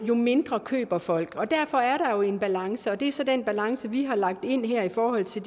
jo mindre køber folk og derfor er der jo en balance og det er så den balance vi har lagt ind her i forhold til